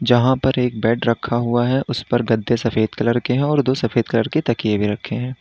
जहां पर एक बेड रखा हुआ है उसपर गद्दे सफेद कलर के हैं और दो सफेद कलर के तकिये भी रखे हैं।